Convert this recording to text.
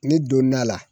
Ne donn'a la